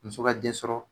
Muso ka den sɔrɔ